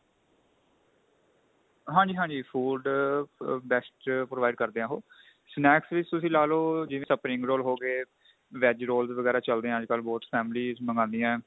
ਹਾਂਜੀ ਹਾਂਜੀ food best provide ਕਰਦੇ ਏ ਉਹ snacks ਵਿੱਚ ਤੁਸੀਂ ਲਾ ਲੋ spring roll ਹੋ ਗਏ veg rolls ਵਗੈਰਾ ਚਲਦੇ ਏ ਅੱਜਕਲ ਬਹੁਤ families ਮੰਗਾਂਦੀਏ